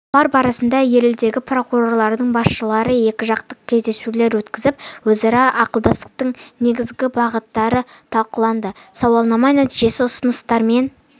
сапар барысында елдері прокуратураларының басшыларымен екіжақты кездесулер өткізіліп өзара ықпалдастықтың негізгі бағыттары талқыланды сауалнама нәтижесі ұсыныстармен